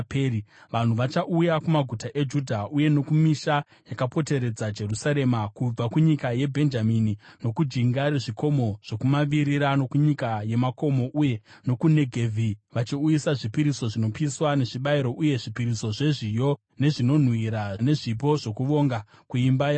Vanhu vachauya kumaguta eJudha uye nokumisha yakapoteredza Jerusarema, kubva kunyika yeBhenjamini nokujinga rezvikomo zvokumavirira, nokunyika yemakomo uye nokuNegevhi, vachiuyisa zvipiriso zvinopiswa nezvibayiro, uye zvipiriso zvezviyo, nezvinonhuhwira nezvipo zvokuvonga kuimba yaJehovha.